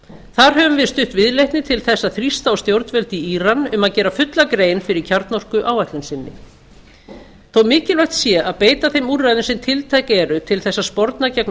þar höfum við stutt viðleitni til þess að þrýsta á stjórnvöld í íran um að gera fulla grein fyrir kjarnorkuáætlun sinni þó mikilvægt sé að beita þeim úrræðum sem tiltæk eru til þess að sporna gegn